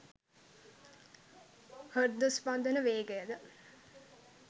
හෘද ස්පන්ධන වේගයද